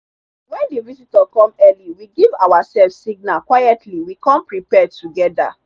when the visitor come early we give ourself signal quietly we come prepare together.